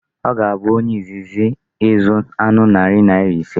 Ọ ga-abụ onye izizi ịzụ anụ narị naira ise.